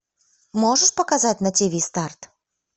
можешь показать на тв старт